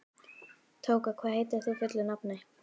Tóka, hvað heitir þú fullu nafni?